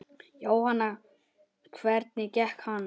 Jóhann: Hvernig gekk hann?